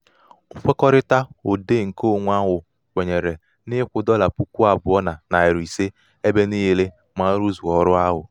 ṅkwekọrịta òdeè ṅkeōnwē ahụ̀ kwènyèrè n’ịkwụ̄ ̀̀dọlà puku àbụọ nà nàrị̀ ìse ebe ebe niilē mà a rụzuo ọrụ ahụ̀.